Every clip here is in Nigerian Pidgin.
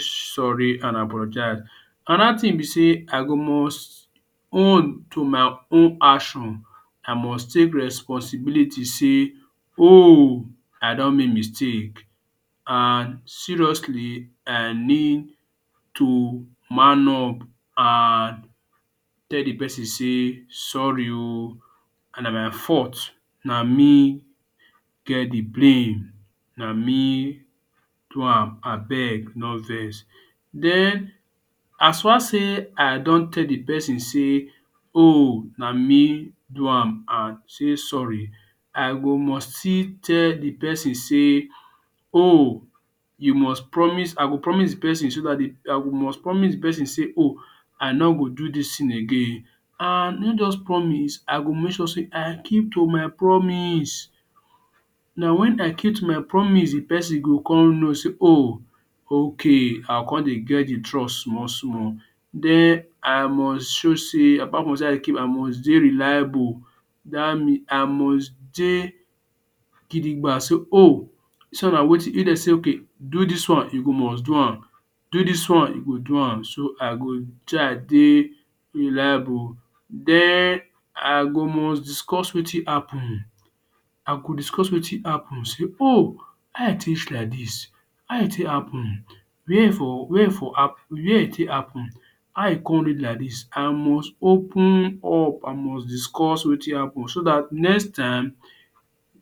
sorry and apologize another tin b say I go must own to my own action I must take responsibility say ohh I don make mistake and seriously I need to man up and tell d persin say sorry o na my fault na me get d blame na me do am abeg no vex den as far say I don tell d person say oh na me do am and say sorry I go must still tell d persin say oh must promise d persin say ohh I no go do dis tin again and not just promise I go make sure say I keep to my promise na wen I keep to my promise d person go con know say ohh okay I go con dey get d trust small small den I must show sey apart from dey reliable I must dey gidigba say oh if dem sey okay do dis one u go must do am do dis one u go do am so I go try dey reliable den I go must discuss wetin happen I go dicuss wetin happen say ohh how e take reach like dis how e take happen were e for were e for happen where e take happen how e con reach like dis I must open up I must discuss wetin happen so dat next time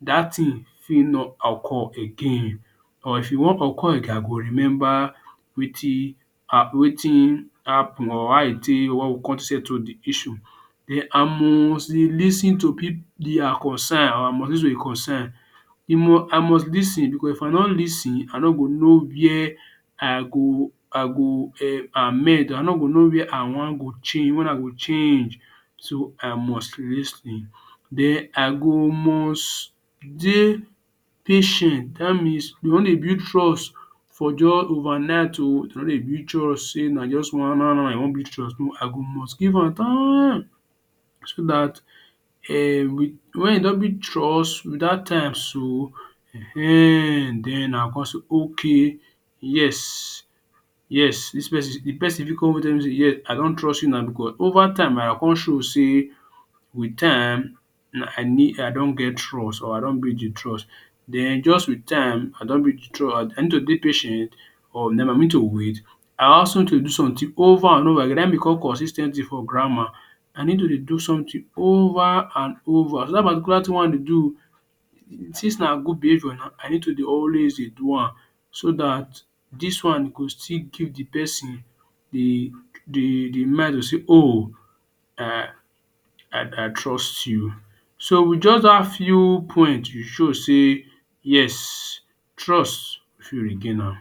dat tin fit no occur again or if e wan occur I go remember wetin wetin happen I must dey lis ten to people their concern I must lis ten because if I no lis ten I no go know where I go I go [um]amend I no go no wen I wen i go change so I must lis ten den I go must dey patient dat means we no dey build trust for jus over night o dem no dey build trust say na just now now u wan build trust I go must give am timeee so dat wen e don build trust wit dat time so I go co say um I go con say okay yes yes d persin fit I don trust u now because over time I go con show say wit time I don get trust or I don build d trust den just with time I need to dey patient or den I need to wait I do something over and over again naim dey call consis ten t for grammar I need to dey do sometin over and over so dat particular tin wen I dey do since na good behaviour I need to dey always dey do am so dat dis wan go still give d persin d d mind to say oh I trust u so wit just dat few point e show say yes trust u fit regain am.